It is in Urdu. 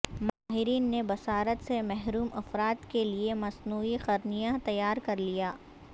ماہرین نےبصارت سے محروم افراد کے لئے مصنوعی قرنیہ تیار کرلیا